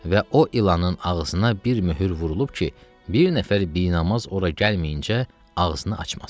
Və o ilanın ağzına bir möhür vurulub ki, bir nəfər binamaz ora gəlməyincə ağzını açmasın.